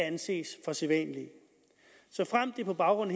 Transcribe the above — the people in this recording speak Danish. anses for sædvanlige såfremt det på baggrund